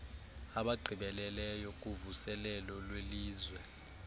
abagqibeleleyo kuvuselelo lwelizwe